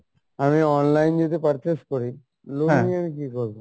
আমি online যেহেতু purchase করি loan নিয়ে আমি কী করবো?